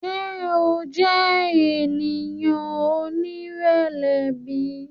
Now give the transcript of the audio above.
Ṣe o jẹ eniyan onirẹlẹ bi?